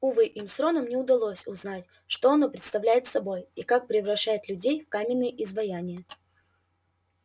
увы им с роном не удалось узнать что оно представляет собой и как превращает людей в каменные изваяния